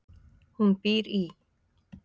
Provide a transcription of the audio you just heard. Hún býr í